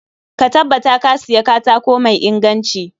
Ka tabbata Ka Siya katako mai inganci